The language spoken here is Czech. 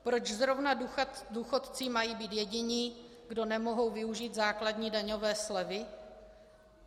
Proč zrovna důchodci mají být jediní, kdo nemohou využít základní daňové slevy?